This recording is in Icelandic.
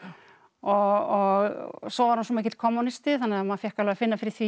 og svo var hún svo mikill kommúnisti þannig að maður fékk alveg að finna fyrir því